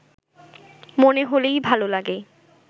মনে হলেই ভালো লাগে